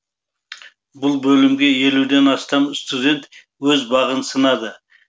бұл бөлімге елуден астам студент өз бағын сынады